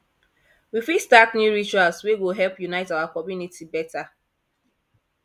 we fit start new rituals wey go help unite our community beta